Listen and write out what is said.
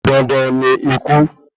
Dandan ni ikú